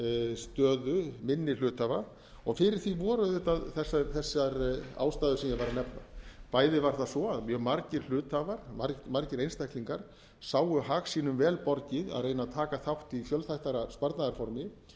stöðu minni hluthafa og fyrir því voru auðvitað þessar ástæður sem ég var að nefna bæði var það svo að mjög margir hluthafar margir einstaklingar sáu hag sínum vel borgið að reyna að taka þátt í fjölþættara sparnaðarformi